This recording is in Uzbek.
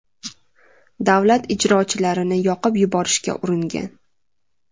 davlat ijrochilarini yoqib yuborishga uringan.